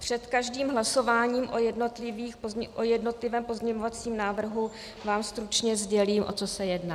Před každým hlasováním o jednotlivém pozměňovacím návrhu vám stručně sdělím, o co se jedná.